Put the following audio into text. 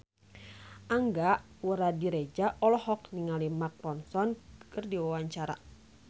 Angga Puradiredja olohok ningali Mark Ronson keur diwawancara